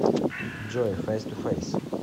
джой фейс ту фейс